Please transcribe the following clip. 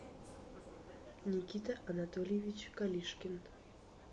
никита анатольевич калишкин